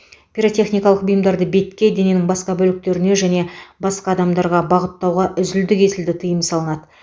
пиротехникалық бұйымдарды бетке дененің басқа бөліктеріне және басқа адамдарға бағыттауға үзілді кесілді тыйым салынады